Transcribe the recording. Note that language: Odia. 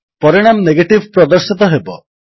ପରିଣାମ ନେଗେଟିଭ୍ ପ୍ରଦର୍ଶିତ ହେବ